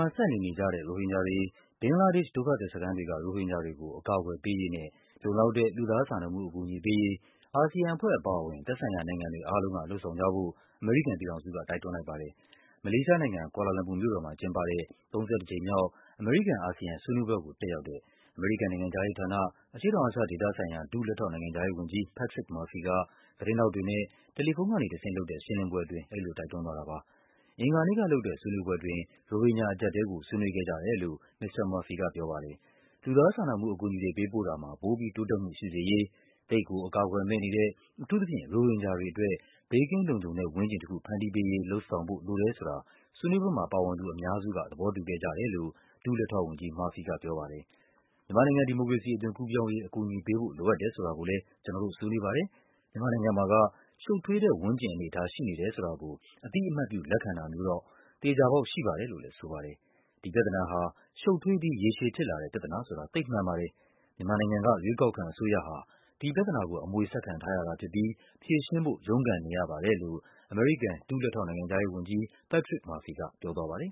ှာ ဆက်နေနေကြတဲ့ ရိုဟင်ဂျာတွေ၊ ဘင်္ဂလားဒေ့ရှ် ဒုက္ခသည်စခန်းတွေက ရိုဟင်ဂျာတွေကို အကာ အကွယ်ပေးရေးနဲ့ လုံလောက်တဲ့ လူသားစာနာမှုအကူအညီပေးရေး အာဆီယံအဖွဲ့အပါအဝင် သက်ဆိုင်ရာနိုင်ငံတွေ အားလုံးက လုပ်ဆောင်ကြဖို့ အမေရိကန်ပြည်ထောင်စုက တိုက်တွန်းလိုက်ပါတယ်။ မလေးရှားနိုင်ငံ၊ ကွာလာလမ်ပူမြို့တော်မှာကျင်းပတဲ့ ၃၁ ကြိမ်မြောက်၊ အမေရိကန်-အာဆီယံ ဆွေးနွေးပွဲကို တက်ရောက်တဲ့ အမေရိကန်နိုင်ငံခြားရေးဌာန၊ အရှေ့တောင်အာရှဒေသဆိုင်ရာ ဒုလက်ထောက်နိုင်ငံခြားရေးဝန်ကြီး Patrick Murphy က သတင်းထောက်တွေနဲ့ တယ်လီဖုန်းကနေတဆင့်လုပ်တဲ့ ရှင်းလင်းပွဲအတွင်း အဲဒီလို တိုက်တွန်းသွားတာပါ။ အင်္ဂါနေ့ကလုပ်တဲ့ ဆွေးနွေးပွဲအတွင်း ရိုဟင်ဂျာအကျပ်အတည်းကို ဆွေးနွေးခဲ့ကြတယ်လို့ မစ္စတာ Murphyu ကပြောပါတယ်။ လူသားစာနာမှုအကူအညီတွေ ပေးပို့တာမှာ ပိုပြီးတိုးတက်မှုရှိစေရေး၊ သိပ်ကို အကာအကွယ်မဲ့နေတဲ့ အထူးသဖြင့် ရိုဟင်ဂျာတွေ အတွက် ဘေးကင်းလုံခြုံတဲ့ ဝန်းကျင်တခု ဖန်တီးပေးရေး လုပ်ဆောင်ဖို့လိုတယ်ဆိုတာ ဆွေးနွေးပွဲမှာပါဝင်သူ အများစုက သဘော တူခဲ့ကြတယ်လို့ ဒုလက်ထောက်ဝန်ကြီး Murphy ကပြောပါတယ်။ မြန်မာနိုင်ငံ ဒီမိုကရေစီအသွင်ကူးပြောင်းရေး အကူအညီပေးဖို့ လိုအပ်တယ်ဆိုတာကိုလည်း ကျနော်တို့ ဆွေးနွေးပါတယ်၊ မြန်မာ နိုင်ငံမှာက ရှုပ်ထွေးတဲ့ ဝန်းကျင်အနေအထား ရှိနေတယ်ဆိုတာကို အသိအမှတ်ပြု လက်ခံတာမျိုးတော့ သေချာပေါက်ရှိပါတယ် လို့လည်းဆိုပါတယ်။ ဒီပြဿနာဟာ ရှုပ်ထွေးပြီး ရေရှည်ဖြစ်လာတဲ့ပြဿနာဆိုတာ သိပ်မှန်ပါတယ်၊ မြန်မာနိုင်ငံက ရွေးကောက်ခံ အစိုးရဟာ ဒီ ပြဿနာကို အမွေဆက်ခံထားရတာဖြစ်ပြီး ဖြေရှင်းဖို့ ရုန်းကန်နေရပါတယ်လို့ အမေရိကန် ဒုလက်ထောက်နိုင်ငံခြားရေးဝန်ကြီး Patrick Murphy က ပြောပါတယ်